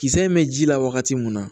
Kisɛ in bɛ ji la wagati mun na